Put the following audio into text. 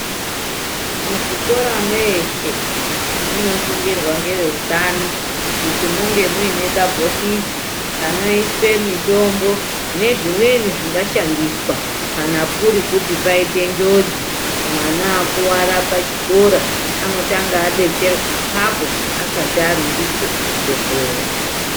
Muzvikora mweshe, munosungirwa ngeveutano kuti munge mune kabhokisi kanoiswe mitombo nezvimweni zvingashandiswa kana kuri kuti paite njodzi. Mwana akuwara pachikora, anotanga abetserwa apapo asati arumbiswe kuchibhehleya.